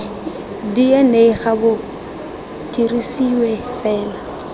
dna ga bo dirisiwe fela